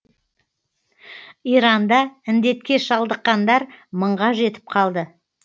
иранда індетке шалдыққандар мыңға жетіп қалды